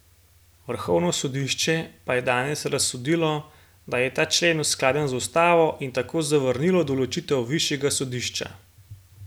Vrhovno sodišče pa je danes razsodilo, da je ta člen skladen z ustavo, in tako zavrnilo določitev višjega sodišča.